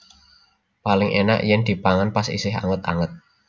Paling enak yen dipangan pas isih anget anget